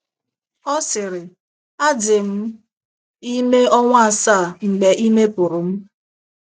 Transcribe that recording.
Ọ sịrị: “ Adị m m ime ọnwa asaa mgbe ime pụrụ m.